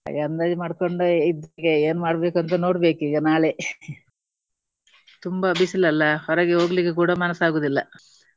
ಹಾಗೆ ಅಂದಾಜು ಮಾಡ್ಕೊಂಡೇ ಇದ್ದೇನೆ ಏನು ಮಾಡ್ಬೇಕಂತ ನೋಡ್ಬೇಕು ಈಗ ನಾಳೆ ತುಂಬಾ ಬಿಸಿಲು ಅಲ್ಲಾ. ಹೊರಗೆ ಹೋಗಲಿಕ್ಕೆ ಕೂಡ ಮನಸ್ಸು ಆಗುವುದಿಲ್ಲ.